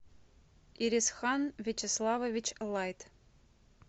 ирисхан вячеславович лайт